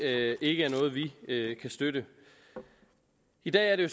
ikke er noget vi kan støtte i dag er det